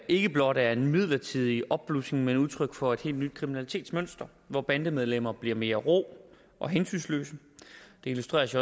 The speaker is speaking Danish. ikke blot er en midlertidig opblussen men udtryk for et helt nyt kriminalitetsmønster hvor bandemedlemmer bliver mere rå og hensynsløse det illustreres